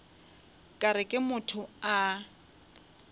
ka re ke motho a